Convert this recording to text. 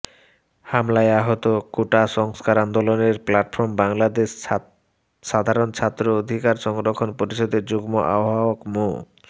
হামলায় আহত কোটা সংস্কার আন্দোলনের প্লাটফর্ম বাংলাদেশ সাধারণ ছাত্র অধিকার সংরক্ষণ পরিষদের যুগ্ম আহ্বায়ক মো